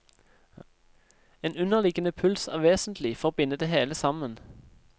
En underliggende puls er vesentlig for å binde det hele sammen.